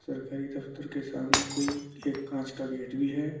सरकारी दफ्तर के सामने कोई एक कांच का गेट भी है।